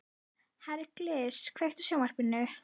Hergils, kveiktu á sjónvarpinu.